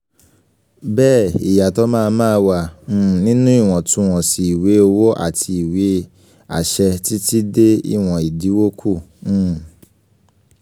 bẹ́ẹ̀ ìyàtọ̀ máa máa wà um nínú iwọntún-wọnsì ìwé um owó àti ìwé àṣẹ títí dé ìwọ̀n ìdinwó kù um